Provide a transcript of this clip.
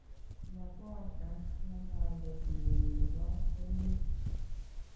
Magoha en ngalalet nyin nebo emeet